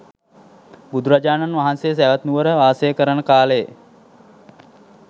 බුදුරජාණන් වහන්සේ සැවැත් නුවර වාසය කරන කාලයේ